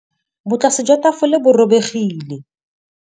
Botlasê jwa tafole bo robegile.